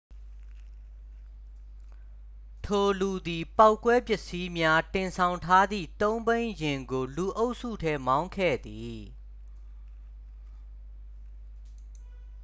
ထိုလူသည် ပေါက်ကွဲပစ္စည်းများ တင်ဆောင်ထားသည် သုံးဘီးယာဉ်ကို လူအုပ်စုထဲ မောင်းခဲ့သည်